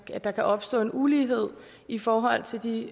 at der kan opstå en ulighed i forhold til de